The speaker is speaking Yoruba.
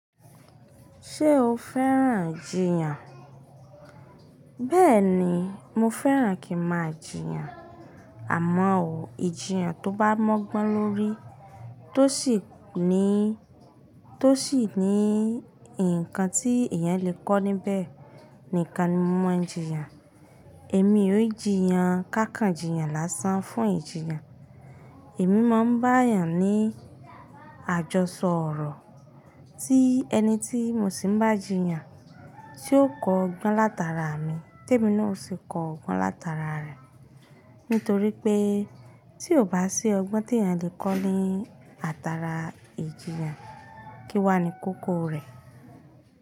Ṣé o fẹ́ràn jìyàn? Bẹ́ẹ̀ni, mo fẹ́ràn kí máa jìyàn. Àmọ́ o, ìjiyàn tó bá mọ́ gbọ́n lórí tó sì ní, tó sì ní ǹkan tí èèyàn lè kọ́ níbẹ̀, nìkan ni mo mọ ìjiyàn. Èmi ò jí yan ka kan jìyàn lásán fún ìjiyàn. Èmi máa ń bá èèyàn ní àjọsọ ọ̀rọ̀ tí ẹni tí mo sì ń bá jìyàn tí ó kọ́ ọgbọ́n látara mi, témi ni ò sì kọ́ ọgbọ́n látara rẹ̀. Nítorí pé tí ò bá sí ọgbọ́n tí èèyàn lè kọ́ ní atara ìjiyàn, kí wá ni kókó rẹ̀?